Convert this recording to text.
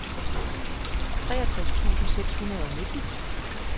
treogtres tusind seks hundrede og nitten